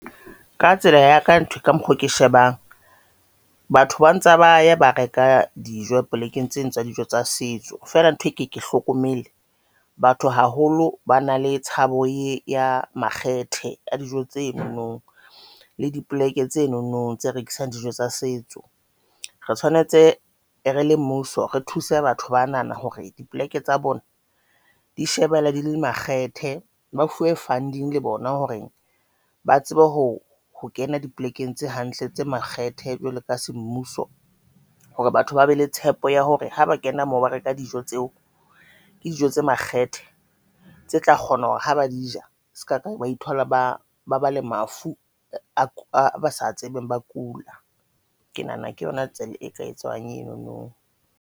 Ka tsela ya ka ntho ka mokgo ke shebang batho ba ntsa ba ya ba reka dijo plekeng tseno tsa dijo tsa setso, fela ntho e ke ke hlokomele batho haholo, ba na le tshabo e ya makgethe a dijo tse nonong le dipoleke tsenonong tse rekisang dijo tsa setso re tshwanetse re le mmuso, re thuse batho ba nahana hore dipoleke tsa bona di shebella di le makgethe ba funding le bona hore ba tsebe hore ho kena dipolekeng tse hantle tse makgethe jwalo ka semmuso. Hore batho ba be le tshepo ya hore haba kena mo ba reka dijo tseo, ke dijo tse makgethe tse tla kgona hore ha ba di ja. Se ka ba ithola ba ba bale mafu a ba sa tsebeng, ba kula. Ke nahana ke yona tsela e ka etsang enono.